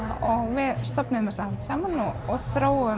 við stofnuðum þessa hátíð saman og þróuðum